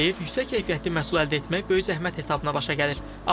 Deyir yüksək keyfiyyətli məhsul əldə etmək böyük zəhmət hesabına başa gəlir.